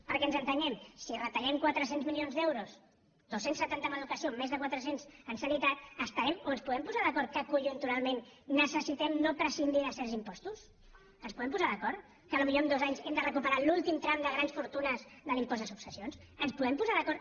perquè ens entenguem si retallem quatre cents milions d’euros dos cents i setanta en educació més de quatre cents en sanitat estarem o ens podem posar d’acord que conjunturalment necessitem no prescindir de certs impostos ens podem posar d’acord que potser en dos anys hem de recuperar l’últim tram de grans fortunes de l’impost de successions ens podem posar d’acord